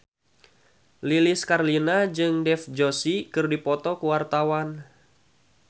Lilis Karlina jeung Dev Joshi keur dipoto ku wartawan